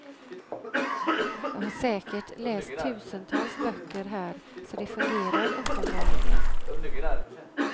Jag har säkert läst tusentals böcker här, så det fungerar uppenbarligen.